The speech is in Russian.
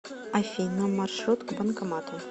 афина маршрут к банкомату